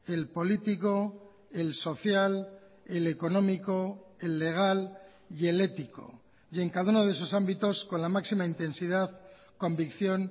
el político el social el económico el legal y el ético y en cada uno de esos ámbitos con la máxima intensidad convicción